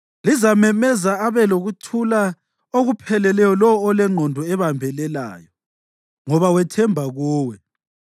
Lizamemeza abe lokuthula okupheleleyo lowo olengqondo ebambelelayo, ngoba wethemba kuwe.